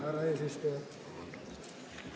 Härra eesistuja!